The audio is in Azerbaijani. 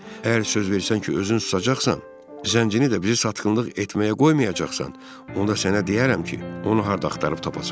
Əgər söz versən ki, özün susacaqsan, zəncini də bizi satqınlıq etməyə qoymayacaqsan, onda sənə deyərəm ki, onu harda axtarıb tapasən.